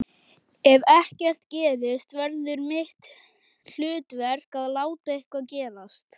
Ef ekkert gerist verður mitt hlutverk að láta eitthvað gerast.